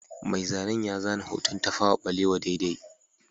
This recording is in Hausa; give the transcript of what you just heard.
Mai zanen ya zana hoton Tafawa Balewa daidai